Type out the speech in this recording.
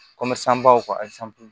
Komi san baw